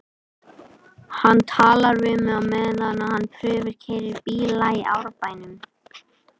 Hann talar við mig á meðan hann prufukeyrir bíla í Árbænum.